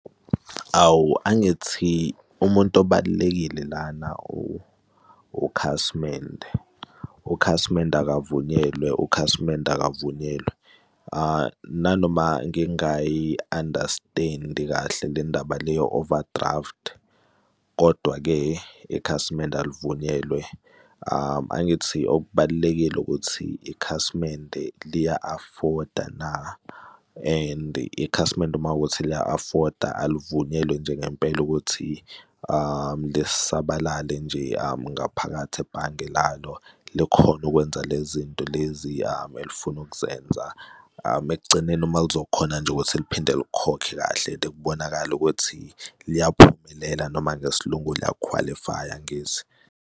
Awu, angithi umuntu obalulekile lana ukhasimende, ukhasimende akavunyelwe ukhasimende akavunyelwe. Nanoma ngingayi-understand-i kahle le ndaba le ye-overdraft. Kodwa-ke ikhasimende oluvunyelwe angithi okubalulekile ukuthi ikhasimende liya-afford-a na? And ikhasimende uma kuwukuthi liya-afford-a aluvunyelwe nje ngempela ukuthi lisabalale nje ngaphakathi ebhange lalo likhona okwenza le zinto lezi elifuna ukuzenza, ekugcineni uma lizokhona nje ukuthi liphinde likhokhe kahle, ke kubonakale ukuthi liyaphumelela noma ngesiLungu liyakhwalifaya, angithi?